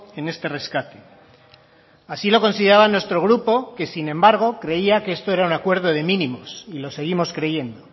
en este rescate así lo consideraba nuestro grupo que sin embargo creía que esto era un acuerdo de mínimos y lo seguimos creyendo